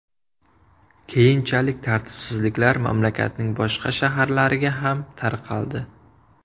Keyinchalik tartibsizliklar mamlakatning boshqa shaharlariga ham tarqaldi.